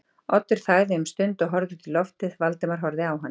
Oddur þagði um stund og horfði út í lofið, Valdimar horfði á hann.